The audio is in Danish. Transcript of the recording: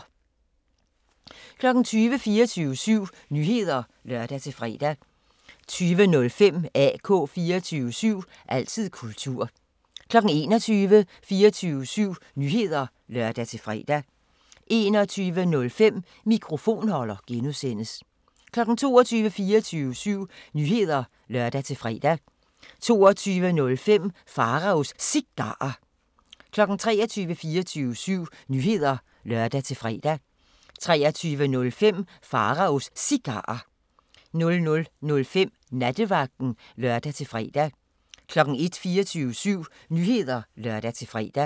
20:00: 24syv Nyheder (lør-fre) 20:05: AK 24syv – altid kultur 21:00: 24syv Nyheder (lør-fre) 21:05: Mikrofonholder (G) 22:00: 24syv Nyheder (lør-fre) 22:05: Pharaos Cigarer 23:00: 24syv Nyheder (lør-fre) 23:05: Pharaos Cigarer 00:05: Nattevagten (lør-fre) 01:00: 24syv Nyheder (lør-fre)